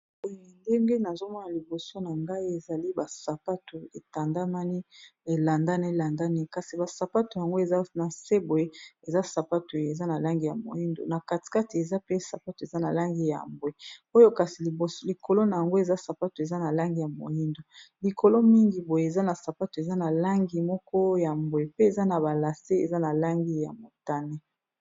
Boe ndenge nazomona liboso na ngai ezali basapato etandamani elandani landani kasi basapato yango eza na sebwe eza sapato eza na langi ya moindo, na katikati eza pe sapato eza na langi ya mbwe, oyo kasi likolo na yango eza sapato eza na langi ya moindo, likolo mingi boye eza na sapato eza na langi moko ya mbwe pe eza na balase eza na langi ya motane.